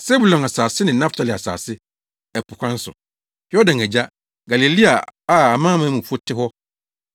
“Sebulon asase ne Naftali asase, ɛpo kwan so, Yordan agya, Galilea a amanamanmufo te hɔ,